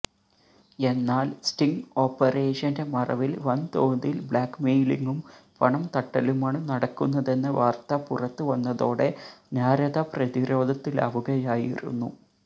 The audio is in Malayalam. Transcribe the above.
എന്നാല് സ്റ്റിങ് ഓപ്പറേഷന്റെ മറവില് വന്തോതില് ബ്ലാക്മെയിലിങ്ങും പണം തട്ടലുമാണ് നടക്കുന്നതെന്ന വാര്ത്ത പുറത്ത് വന്നത്തോടെ നാരദ പ്രതിരോധത്തിലാവുകയായിരുന്നു